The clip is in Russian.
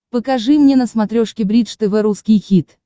покажи мне на смотрешке бридж тв русский хит